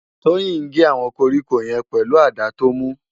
Toyin n gé áwòn kórikó yèn pèlú àdá tó mú